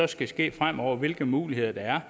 skal ske fremover og hvilke muligheder der er